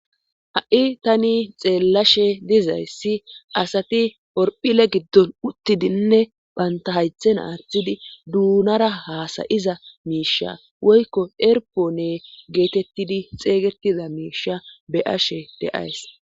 ha7i tani xeellashe dizayssi asati orphile giddon uttidinne banta haythen aathidi duunara haasayiza miisha woykko erpoone geetettidi xeygettiza miisha beashe deays